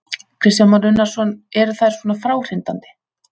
Kristján Már Unnarsson: Eru þær svona fráhrindandi?